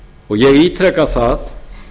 ég ítreka það